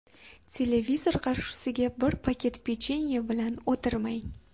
Televizor qarshisiga bir paket pechenye bilan o‘tirmang.